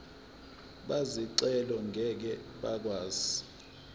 bezicelo ngeke bakwazi